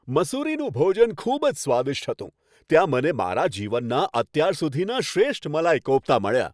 મસૂરીનું ભોજન ખૂબ જ સ્વાદિષ્ટ હતું. ત્યાં મને મારા જીવનના અત્યાર સુધીના શ્રેષ્ઠ મલાઈ કોફ્તા મળ્યા.